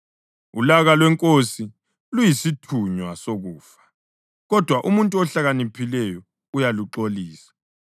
Ulaka lwenkosi luyisithunywa sokufa, kodwa umuntu ohlakaniphileyo uyaluxolisa.